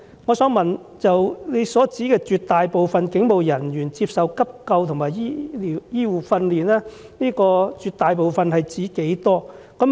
我想問局長，在"絕大部分警務人員都曾接受急救和一些基本的醫護訓練"中的"絕大部分"是指多少人？